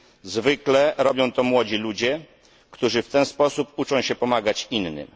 Zwykle robią to młodzi ludzie, którzy w ten sposób uczą się pomagać innym.